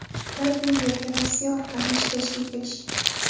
Ular bu yerga Rossiya orqali ishlashga kelishgan.